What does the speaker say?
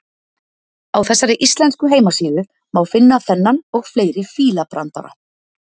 Á þessari íslensku heimasíðu má finna þennan og fleiri fílabrandara.